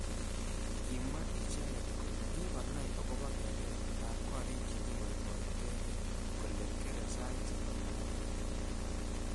Kimwa icheket kole kikonai akobo keret ab korik chekiboiboitekei kole kerei sait sokol nebo kemboi.